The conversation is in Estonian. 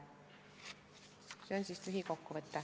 See oli lühikokkuvõte.